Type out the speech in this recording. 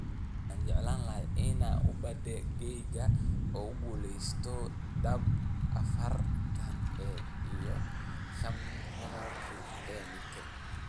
Waxaan jeclaan lahaa inaan ubadkayga ugu guuleysto dahab afaraad ee 5,000 ee mitir.